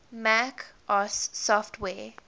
mac os software